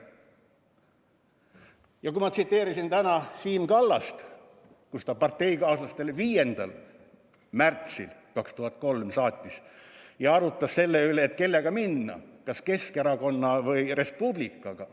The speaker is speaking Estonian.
Ja ma tsiteerisin täna Siim Kallast, kes arutas parteikaaslastega 5. märtsil 2003 selle üle, kellega edasi minna: kas Keskerakonna või Res Publicaga.